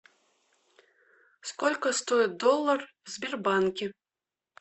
сколько стоит доллар в сбербанке